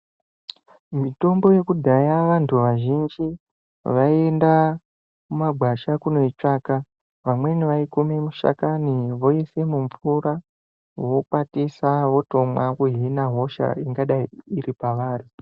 Mutombo yekudhaya vantu azhinji vaienda mumagwasha kundoitsvaka vamweni vaikume mishakani voise mimvura vokwatisa votomwa vohina hosha ingadai iri pavari.